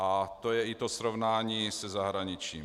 A to je i to srovnání se zahraničím.